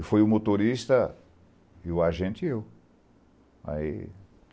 E foi o motorista, o agente e eu. Aí